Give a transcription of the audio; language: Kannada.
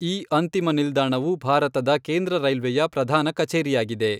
ಈ ಅಂತಿಮ ನಿಲ್ದಾಣವು ಭಾರತದ ಕೇಂದ್ರ ರೈಲ್ವೆಯ ಪ್ರಧಾನ ಕಛೇರಿಯಾಗಿದೆ.